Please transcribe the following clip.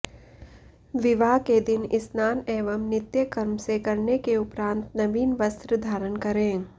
विवाह के दिन स्नान एवं नित्य कर्म से करने के उपरान्त नवीन वस्त्र धारण करें